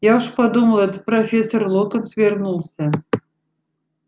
я уж подумал это профессор локонс вернулся